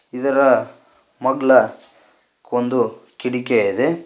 ಇದರ ಮಗ್ಲ ಒಂದು ಕಿಡಿಕೆ ಇದೆ.